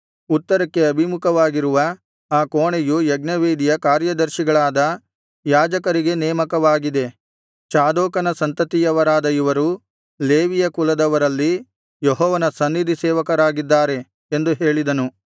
ಉತ್ತರಕ್ಕೆ ಅಭಿಮುಖವಾಗಿರುವ ಆ ಕೋಣೆಯು ಯಜ್ಞವೇದಿಯ ಕಾರ್ಯದರ್ಶಿಗಳಾದ ಯಾಜಕರಿಗೆ ನೇಮಕವಾಗಿದೆ ಚಾದೋಕನ ಸಂತತಿಯವರಾದ ಇವರು ಲೇವಿಯ ಕುಲದವರಲ್ಲಿ ಯೆಹೋವನ ಸನ್ನಿಧಿ ಸೇವಕರಾಗಿದ್ದಾರೆ ಎಂದು ಹೇಳಿದನು